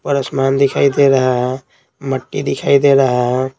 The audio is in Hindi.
ऊपर आसमान दिखाई दे रहा हैमिट्टी दिखाई दे रही है।